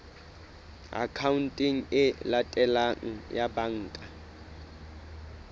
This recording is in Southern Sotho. akhaonteng e latelang ya banka